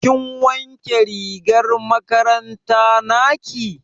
Kin wanke rigar makaranta naki?